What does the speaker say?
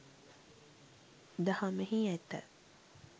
දහමෙහි ඇත.